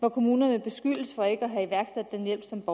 at kommunerne beskyldes for ikke at have iværksat den hjælp som